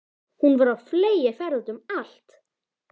Hún var á fleygiferð úti um allt.